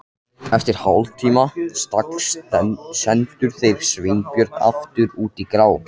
Eftir hálftíma stagl sendu þeir Sveinbjörn aftur út í grá